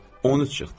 13 çıxdı.